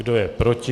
Kdo je proti?